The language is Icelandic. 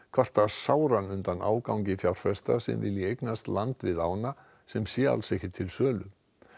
kvarta sáran undan ágangi fjárfesta sem vilji eignast land við ána sem sé alls ekki til sölu